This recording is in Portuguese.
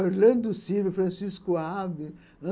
Orlando Silva, Francisco Alves.